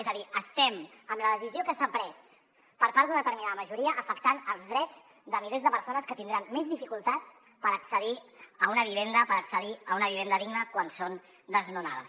és a dir estem amb la decisió que s’ha pres per part d’una determinada majoria afectant els drets de milers de persones que tindran més dificultats per accedir a una vivenda per accedir a una vivenda digna quan són desnonades